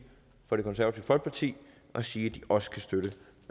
fra det konservative folkeparti og sige